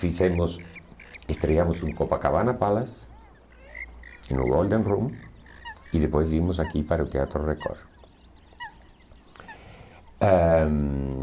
Fizemos, estreamos um Copacabana Palace no Golden Room e depois vimos aqui para o Teatro Record. Ãh